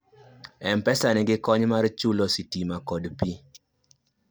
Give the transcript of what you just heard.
mpesa nigi kony mar chulo sitima kod pii